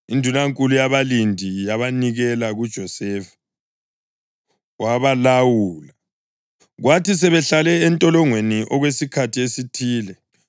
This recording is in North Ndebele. Indunankulu yabalindi yabanikela kuJosefa, wabalawula. Kwathi sebehlale entolongweni okwesikhathi esithile,